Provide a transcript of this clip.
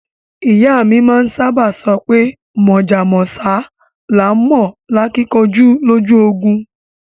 Iya mi maa saba sope Mojá mósá laa n mo akinkanju loju ogun